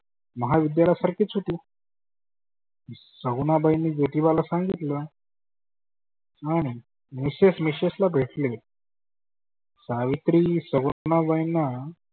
महाविद्यालया सारखीच होती. सगुनाबाईंनी ज्योतीबाला सांगितलं. नाही नाही miss michelle ला भेटले. सावित्री सगुनाबाईंना